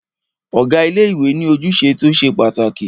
Ọ̀gá ilé ìwé ní ojúṣe tí o ṣe pàtàkì.